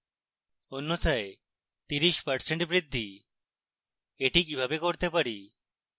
অন্যথায় 30% বৃদ্ধি এটি কিভাবে করতে পারি